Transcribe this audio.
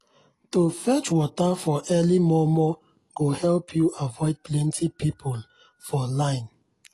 to fetch water for early momo go help u avoid plenty people for line.